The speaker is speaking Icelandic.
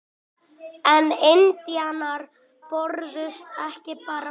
En indjánar börðust ekki bara vel.